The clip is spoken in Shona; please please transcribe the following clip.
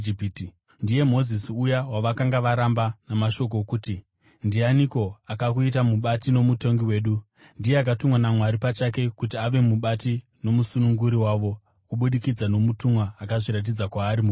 “Ndiye Mozisi uya wavakanga varamba namashoko okuti, ‘Ndianiko akakuita mubati nomutongi wedu?’ Ndiye akatumwa naMwari pachake kuti ave mubati nomusununguri wavo, kubudikidza nomutumwa akazviratidza kwaari mugwenzi.